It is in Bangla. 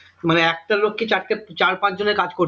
মানে একটা লোককে চারটে চার পাঁচ জনের কাজ করতে